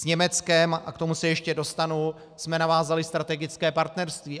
S Německem, a k tomu se ještě dostanu, jsme navázali strategické partnerství.